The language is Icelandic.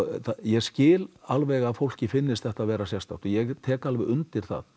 ég skil alveg að fólki finnist þetta sérstakt og ég tek alveg undir það